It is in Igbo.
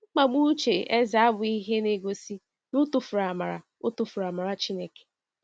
Mkpagbu uche Eze abụghị ihe na-egosi na o tufuru amara o tufuru amara Chineke.